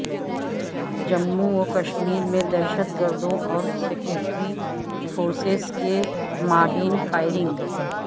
جموں وکشمیر میں دہشت گردوں اور سکیورٹی فورسز کے مابین فائرنگ